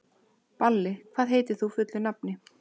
Balli, hvað heitir þú fullu nafni?